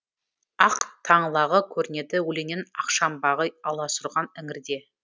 ақ таңлағы көрінеді өлеңнен ақшамбағы аласұрған іңірде